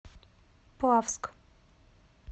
плавск